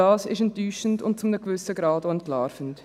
Das ist enttäuschend und zu einem gewissen Grad auch entlarvend.